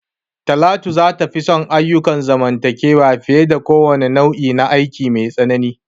Talatu za ta fi son ayyukan zamantakewa fiye da kowane nau'i na aiki mai tsanani.